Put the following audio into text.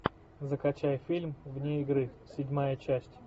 закачай фильм вне игры седьмая часть